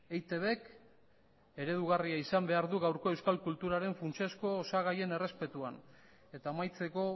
eitbk eredugarria izan behar du gaurko euskal kulturaren funtsezko osagaien errespetuan eta amaitzeko